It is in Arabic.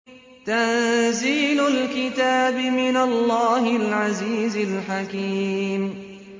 تَنزِيلُ الْكِتَابِ مِنَ اللَّهِ الْعَزِيزِ الْحَكِيمِ